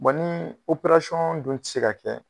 nii dun ti se ka kɛ